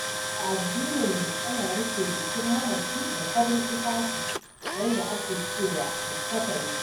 A addininmu ana rufe jikin mamaci da farin tufafi wanda ake cewa likkafani.